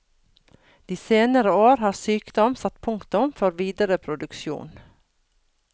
De senere år har sykdom satt punktum for videre produksjon.